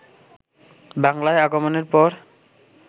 বাংলায় আগমনের পর